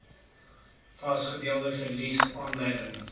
vasgestelde verliese aanleiding